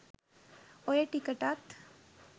ඔය ටිකටත්